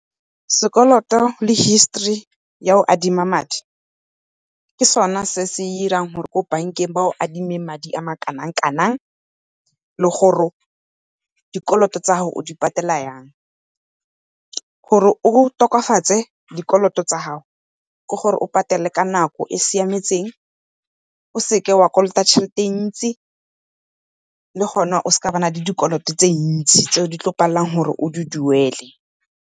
Sekoloto le history ya go adima madi ke sona se se irang gore ko bank-eng ba go adime madi a kanang-kanang, le gore dikoloto tsa gago o di patela yang. Gore o tokafatse dikoloto tsa gago ke gore o patele ka nako e e siametseng, o seke wa kolota tjhelete entsi le gona o seke wa nna le dikoloto tse ntsi tse o tlo palelwang ke gore o di duele.